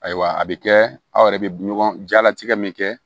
Ayiwa a bɛ kɛ aw yɛrɛ bɛ ɲɔgɔn jalatigɛ min kɛ